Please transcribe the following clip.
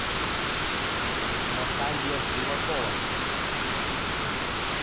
наталья животова